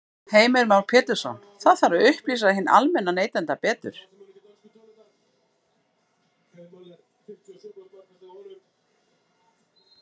Heimir Már Pétursson: Það þarf að upplýsa hinn almenna neytanda betur?